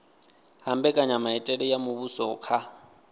ha mbekanyamitele ya muvhuso kha